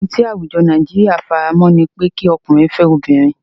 Ohun ti àwùjọ Nàìjíríà faramọ́ ni pé kí Ọkùnrin fẹ́ obìnrin.